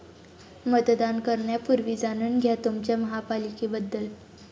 मतदान करण्यापूर्वी जाणून घ्या तुमच्या महापालिकेबद्दल